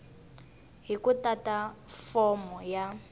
hi ku tata fomo ya